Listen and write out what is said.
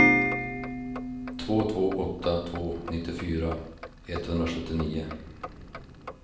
två två åtta två nittiofyra etthundrasjuttionio